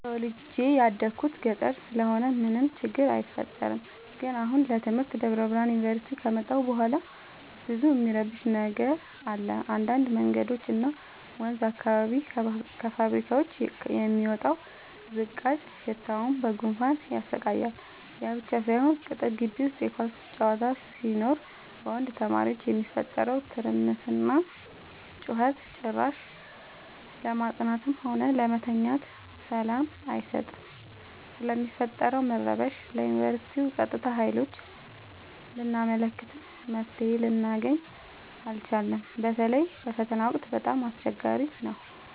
ተወልጄ የደኩት ገጠር ስለሆነ ምንም ችግር አይፈጠርም። ግን አሁን ለትምህርት ደብረብርሃን ዮንቨርሲቲ ከመጣሁ በኋላ ብዙ እሚረብሽ ነገር አለ እንዳድ መንገዶች እና ወንዝ አካባቢ ከፋብካዎች የሚወጣው ዝቃጭ ሽታው በጉንፋን ያሰቃያል። ያብቻ ሳይሆን ቅጥር ጊቢ ውስጥ የኳስ ጨዋታ ሲኖር በወንድ ተማሪዎች የሚፈጠረው ትርምስና ጩኸት ጭራሽ ለማጥናትም ሆነ ለመተኛት ሰላም አይሰጥም። ስለሚፈጠረው መረበሽ ለዮንቨርስቲው ፀጥታ ሀይሎች ብናመለክትም መፍትሔ ልናገኝ አልቻልም። በተለይ በፈተና ወቅት በጣም አስቸገሪ ነው።